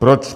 Proč?